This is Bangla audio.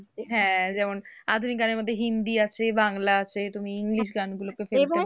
হ্যাঁ যেমন আধুনিক গানের মধ্যে হিন্দি আছে, বাংলা আছে তুমি english গানগুলোকে